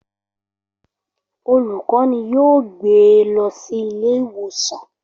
Olùkọ́ni yóò gbé e lọ sí ilé ìwòsàn